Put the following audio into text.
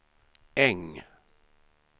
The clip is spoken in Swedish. Äng